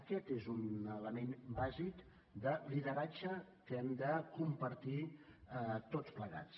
aquest és un element bàsic de lideratge que hem de compartir tots plegats